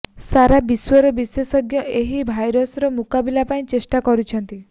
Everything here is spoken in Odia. ସାରା ବିଶ୍ୱର ବିଶେଷଜ୍ଞ ଏହି ଭାଇରସର ମୁକାବିଲା ପାଇଁ ଚେଷ୍ଟା କରୁଛନ୍ତି